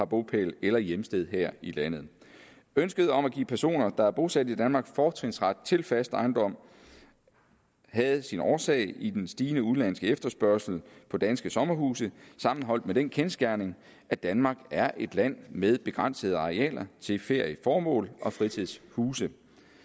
bopæl eller hjemsted her i landet ønsket om at give personer der er bosat i danmark fortrinsret til fast ejendom havde sin årsag i den stigende udenlandske efterspørgsel på danske sommerhuse sammenholdt med den kendsgerning at danmark er et land med begrænsede arealer til ferieformål og fritidshuse